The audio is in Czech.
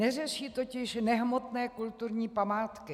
Neřeší totiž nehmotné kulturní památky.